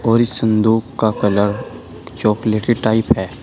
और इस संदूक का कलर चॉकलेटी टाइप है।